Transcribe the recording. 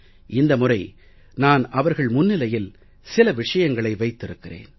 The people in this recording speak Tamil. இந்த முறை நான் அவர்கள் முன்னிலையில் சில விஷயங்களை வைத்திருக்கிறேன்